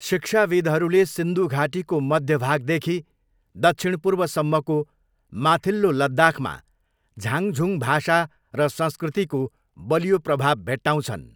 शिक्षाविद्हरूले सिन्धु घाटीको मध्य भागदेखि दक्षिणपूर्वसम्मको 'माथिल्लो लद्दाख'मा झाङझुङ भाषा र संस्कृतिको बलियो प्रभाव भेट्टाउँछन्।